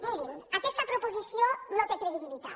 mirin aquesta proposició no té credibilitat